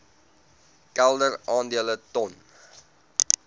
kelder aandele ton